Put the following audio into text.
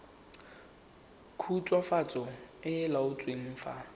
khutswafatso e e laotsweng fa